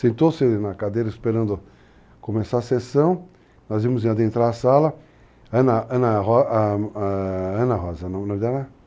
Sentou-se na cadeira esperando começar a sessão, nós íamos adentrar a sala, Ana, Ana a a Ana Rosa,